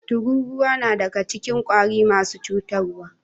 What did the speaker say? Tururuwa nadaga cikin kwari marasa cutar wa